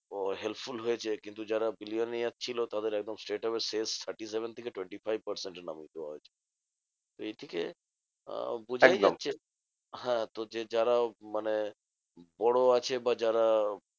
Helpful হয়েছে কিন্তু যারা bilionaire ছিল তাদের একদম cess thirty-seven থেকে twnety-five percent এ নামিয়ে দেওয়া হয়েছে। তো এর থেকে আহ বোঝাই যাচ্ছে, হ্যাঁ? তো যে যারা মানে বড় আছে বা যারা